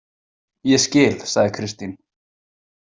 Ég skil, sagði Kristín.